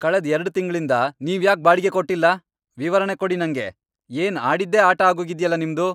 ಕಳೆದ್ ಎರಡ್ ತಿಂಗ್ಳಿಂದ ನೀವ್ಯಾಕ್ ಬಾಡಿಗೆ ಕೊಟ್ಟಿಲ್ಲ? ವಿವರಣೆ ಕೊಡಿ ನಂಗೆ. ಏನ್ ಆಡಿದ್ದೇ ಆಟ ಆಗೋಗಿದ್ಯಲ ನಿಮ್ದು!